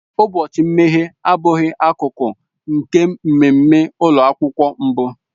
Ụbọchị mmeghe abụghị akụkụ nke mmemme ụlọ akwụkwọ mbụ